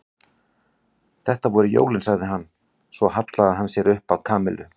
Þetta voru jólin sagði hann svo og hallaði sér upp að Kamillu.